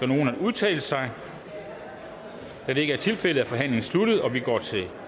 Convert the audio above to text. nogen at udtale sig da det ikke er tilfældet er forhandlingen sluttet og vi går til